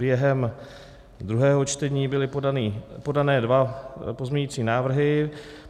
Během druhého čtení byly podány dva pozměňující návrhy.